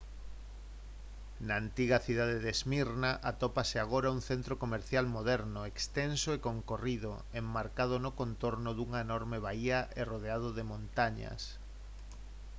na antiga cidade de smyrna atópase agora un centro comercial moderno extenso e concorrido enmarcado no contorno dunha enorme baía e rodeado de montañas